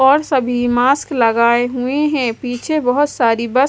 और सभी मास्क लगाये हुए है पीछे बहोत सारी बस--